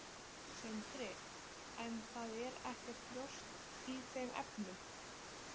Sindri: En það er ekkert ljóst í þeim efnum?